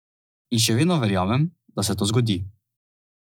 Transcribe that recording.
In še vedno verjamem, da se to zgodi.